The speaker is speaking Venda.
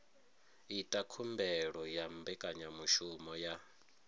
ita khumbelo ya mbekanyamushumo ya